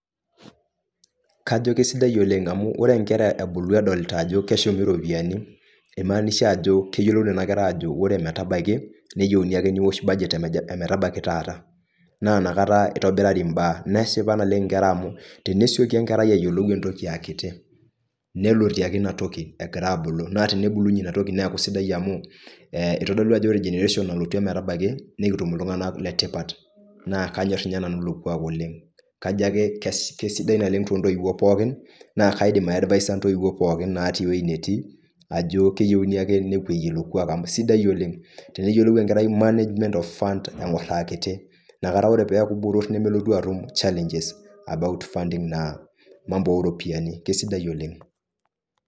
Kajo kesidai oleng' amuu ore inkera ebulu edolta ajo keshumi iropiyani imaanisha ajo keyolou nena kera ajo ore metabaiki neyeuni ake niwosh cs[badget]cs emetabaiki taata naa ina kata itobirari imbaa, neshipa naleng' inera amuu, tenesioki enkerai ayolou entoki aa kiti nelotie ake ina toki egira abulu naa tenibulunye ina toki neeku sidai amuu itodolu ajo ore cs[generation]cs nalotu emetabaiki nikitum iltung'anak letipat naa kanyorr ninye nanu ilo kuak oleng' kajo ake seidai nale naleng' too ntoiwo pookin naa kaidim aidvaisa intoiwo pookin etii eweji netii ajo keyeuni ake nepoye ilo kuaka amuu eisidai oleng' teneyolou enkerai cs[management of funds]cs eng'or aa kiti inakata ore peeku botorr nemelotu atum cs[challenges about funding]cs cs[na, mambo]cs ooropiyani kesidai oleng'.